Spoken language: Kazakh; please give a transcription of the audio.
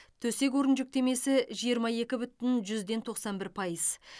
төсек орын жүктемесі жиырма екі бүтін жүз ден тоқсан бір пайыз